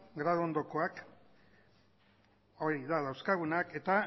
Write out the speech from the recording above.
graduondokoak horiek dira dauzkagunak eta